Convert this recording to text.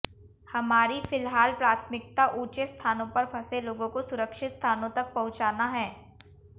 हमारी फिलहाल प्राथमिकता ऊंचे स्थानों पर फंसे लोगों को सुरक्षित स्थानों तक पहुंचाना है